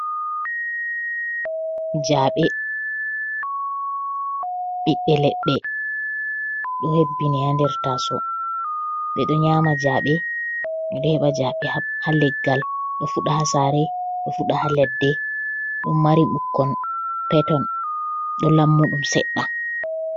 Jaaɓe, ɓiɓbe leɗɗe ɗo hebbini ha nder taso. Ɓeɗo nyama jaaɓe ɓe ɗo heɓa jaaɓe ha leggal. Ɗo fuɗa ha sare, ɗo fuɗa ha ladde. Ɗum mari ɓukkon peton ɗo lammuɗum seɗɗa.